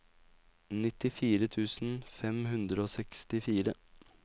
nittifire tusen fem hundre og sekstifire